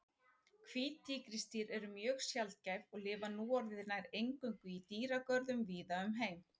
Hvít tígrisdýr eru mjög sjaldgæf og lifa núorðið nær eingöngu í dýragörðum víða um heim.